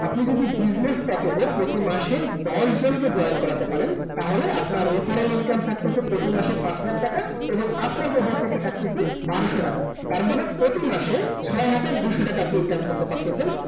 আপনি যদি business package এ প্রতি মাসে দশ জন কে join করাতে পারেন। তাহলে আপনার referral income থাকতেসে প্রতি মাসে পাঁচ হাজার টাকা, এবং আপনার profile থেকে থাকতেসে বারশো টাকা। তার মানে প্রতি মাসে ছয় হাজার দুইশো টাকা আপনি income করতে পারতেসেন ।